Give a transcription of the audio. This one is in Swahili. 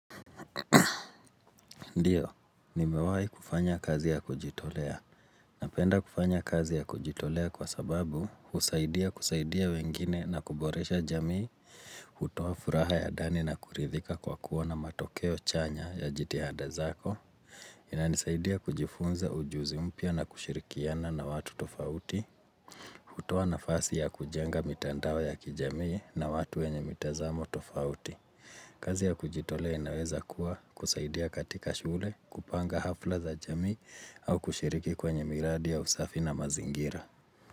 Ndiyo, ni mewahi kufanya kazi ya kujitolea. Napenda kufanya kazi ya kujitolea kwa sababu husaidia kusaidia wengine na kuboresha jamii. Hutowa furaha ya ndani na kuridhika kwa kuona matokeo chanya ya jitihada zako. Inani saidia kujifunza ujuzi mpya na kushirikiana na watu tofauti. Hutowa nafasi ya kujenga mitandao ya kijamii na watu wenye mitazamo tofauti. Kazi ya kujitole inaweza kuwa kusaidia katika shule kupanga hafla za jamii au kushiriki kwenye miradi ya usafi na mazingira.